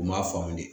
U m'a faamu dɛ